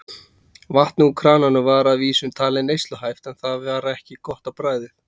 Vatnið úr krananum var að vísu talið neysluhæft en það var ekki gott á bragðið.